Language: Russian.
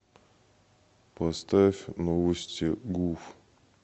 поставь новости гуф